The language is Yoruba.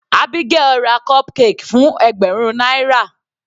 Abigael ra cupcake fún ẹgbẹ̀rún náírà.